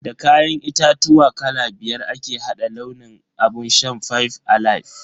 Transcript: Da kayan itatuwa kala biyar ake hada launin abun shan "five alive".